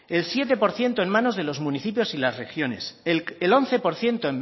el siete por ciento en manos de los municipios y las regiones el once por ciento